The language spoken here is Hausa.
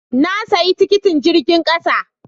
Na sayi tikitin jirgin kasa.